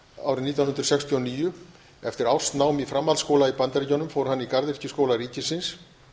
árið nítján hundruð sextíu og níu eftir árs nám í framhaldsskóla í bandaríkjunum fór hann í garðyrkjuskóla ríkisins